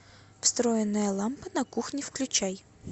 встроенная лампа на кухне включай